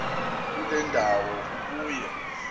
kule ndawo ubuye